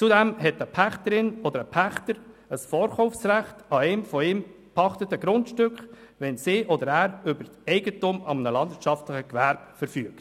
Zudem hat eine Pächterin oder ein Pächter ein Vorkaufsrecht an den von ihr oder ihm gepachteten Grundstücken, wenn sie oder er über Eigentum an einem landwirtschaftlichen Gewerbe verfügt.